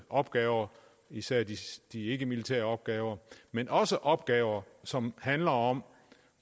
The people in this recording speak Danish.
opgaver især de ikkemilitære opgaver men også opgaver som handler om